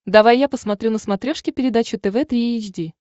давай я посмотрю на смотрешке передачу тв три эйч ди